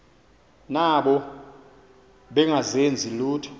nabo bengazenzi lutho